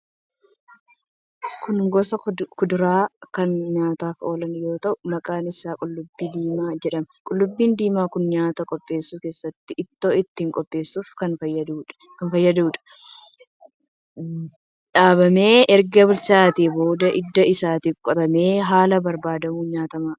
Kun gosa kuduraa kan nyaataaf oolu yoo ta'u, maqaan isaa qullubbii diimaa jedhama. Qullubbii diimaan kun nyaata qopheessuu keessatti, ittoo ittiin qopheessuuf kan fayyaduudha. Dhaabamee erga bilchaatee booda hidda isaatu qotamee haala barbaadamuun nyaatama.